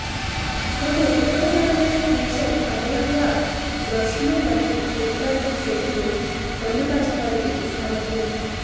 ఒక ఉపయోగకరమైన ఫీచర్ అదనంగా బ్రష్లు మరియు ఫిల్టర్లు సెట్ను పొందుపరచడానికి సామర్ధ్యం